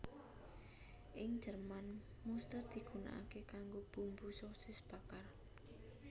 Ing Jerman muster digunakake kanggo bumbu sosis bakar